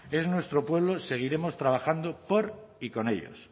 es nuestro pueblo seguiremos trabajando por y con ellos